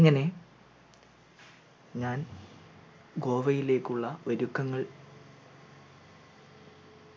അങ്ങനെ ഞാൻ ഗോവയിലേക്കുള്ള ഒരുക്കങ്ങൾ